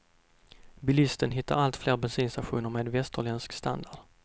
Bilisten hittar allt fler bensinstationer med västerländsk standard.